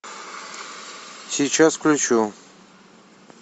сейчас включу